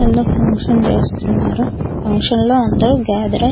ఏందో ఫంక్షన్ చేస్తున్నారు ఫంక్షన్ లో అందరూ గ్యాదరై --